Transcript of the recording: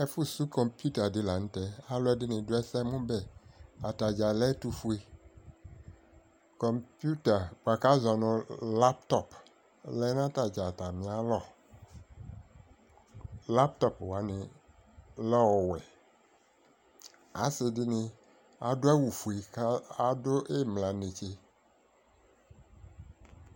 Ɛfu su azɔnu kɔpuita di la nu tɛ adu ɛsɛmu bɛ atadza lɛ ɛtufue kɔpuita buaku laptop laptop wani lɛ ɔwɛ asidini adu awu ofue ku adu imla netse